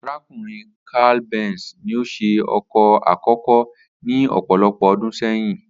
Arákùnrin Carl Benz ni ó s̩e o̩kò̩ àkókó ní ò̩pò̩lo̩pò̩ o̩dún sé̩yìn